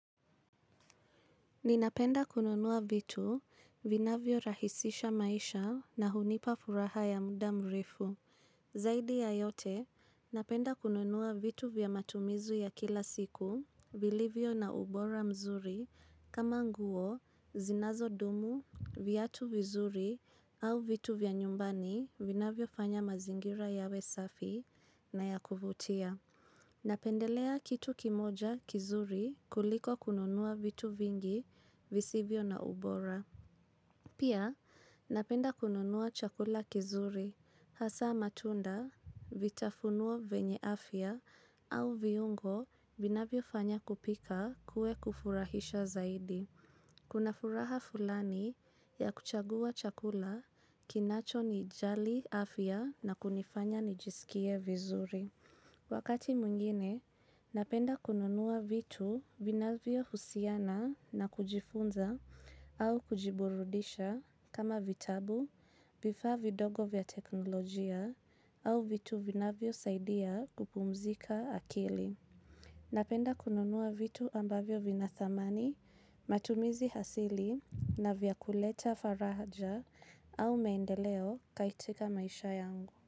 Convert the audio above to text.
Ninapenda kununua vitu, vinavyo rahisisha maisha na hunipa furaha ya muda mrefu. Zaidi ya yote, napenda kununua vitu vya matumizu ya kila siku, vilivyo na ubora mzuri, kama nguo, zinazo dumu, viatu vizuri, au vitu vya nyumbani, vinavyo fanya mazingira yawe safi na ya kuvutia. Napendelea kitu kimoja kizuri kuliko kununua vitu vingi visivyo na ubora. Pia napenda kununua chakula kizuri hasa matunda vitafunuo venye afya au viungo vinavyo fanya kupika kue kufurahisha zaidi. Kuna furaha fulani ya kuchagua chakula kinacho ni jali afya na kunifanya ni jisikie vizuri. Wakati mwingine, napenda kununua vitu vinavyo husiana na kujifunza au kujiburudisha kama vitabu, vifa vidogo vya teknolojia au vitu vinavyosaidia kupumzika akili. Napenda kununua vitu ambavyo vina thamani, matumizi hasili na vya kuleta faraja au meendeleo kaitika maisha yangu.